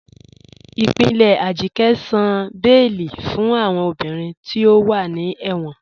Ipinlẹ̀ Ajike sàn bẹẹ̀lì fún awọn obìnrin tí o wà ní ẹ̀wọn.